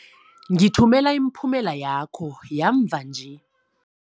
Ngithumela imiphumela yakho yamva nje.